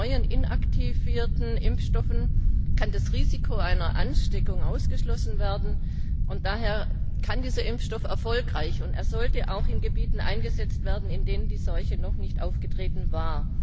Mit den neuen, inaktivierten Impfstoffen kann das Risiko einer Ansteckung ausgeschlossen werden, und daher kann dieser Impfstoff erfolgreich auch in Gebieten eingesetzt werden, in denen die Seuche noch nicht aufgetreten war.